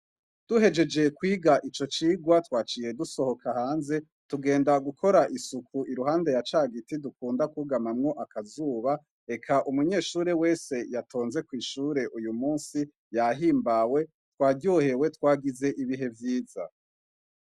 Duhejejeye kwiga ico cirwa twaciye dusohoka hanze tugenda gukora isuku iruhande ya ca giti dukunda kugamamwo akazuba eka umunyeshure wese yatonze kw'ishure uyu musi yahimbawe twaryohewe twagize ibihe vyiza.